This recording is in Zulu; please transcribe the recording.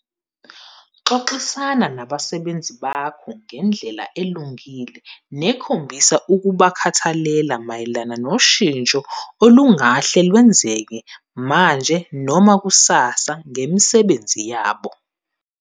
Xoxisana nabasebenzi bonke ngendlela elungile nekhombisa ukubakhathalela mayelana noshintsho olungahle lwenzeke manje noma kusasa ngemisebenzi yabo.